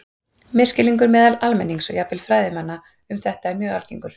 Misskilningur meðal almennings og jafnvel fræðimanna um þetta er mjög algengur.